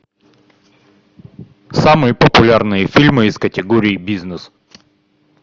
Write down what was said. самые популярные фильмы из категории бизнес